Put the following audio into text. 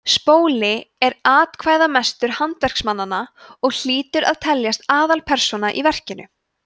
spóli er atkvæðamestur handverksmannanna og hlýtur að teljast aðalpersóna í verkinu